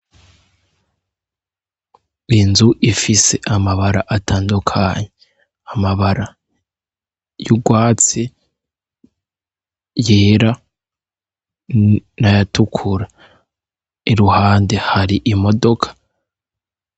Inzu ifise amabara atandukanye amabara y'urwatsi, yera naya tukura iruhande hari imodoka.